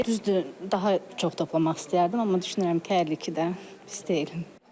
Düzdür, daha çox da toplamaq istəyərdim, amma düşünürəm ki, hər ikisi də pis deyil.